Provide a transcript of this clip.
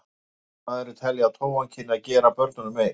Virtist maðurinn telja að tófan kynni að gera börnunum mein.